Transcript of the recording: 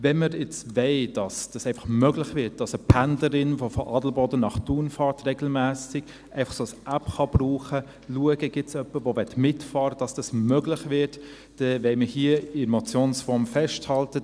Wenn wir nun wollen, dass es einfach möglich wird, dass eine Pendlerin, die regelmässig von Adelboden nach Thun fährt, einfach eine solche App verwenden und schauen kann, ob es jemanden gibt, der mitfahren möchte, dass dies möglich wird, dann wollen wir hier an der Motionsform festhalten.